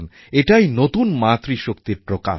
এটাই নতুন মাতৃশক্তির প্রকাশ